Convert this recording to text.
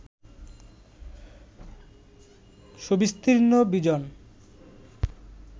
সুবিস্তীর্ণ, বিজন